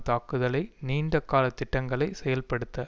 தாக்குதலை நீண்ட கால திட்டங்களை செயல்படுத்த